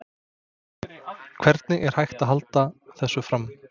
Hvernig er hægt að halda þessu fram?